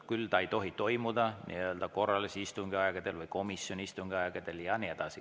Küll see ei tohi toimuda korralise istungi aegadel ega komisjoni istungi aegadel ja nii edasi.